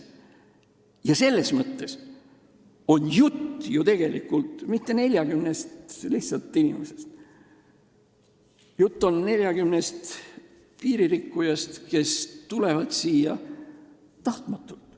Ja selles mõttes ei ole jutt tegelikult mitte lihtsalt 40 inimesest, jutt on 40 piiririkkujast, kes tulevad siia vastu tahtmist.